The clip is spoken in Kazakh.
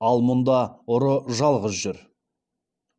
ал мұнда ұры жалғыз жүр